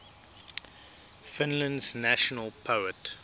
finland's national poet